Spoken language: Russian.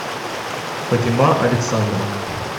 фатима александровна